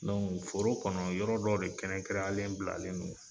Dɔnku foro kɔnɔ yɔrɔ dɔ de kɛrɛnkɛrɛnyalen bilalen don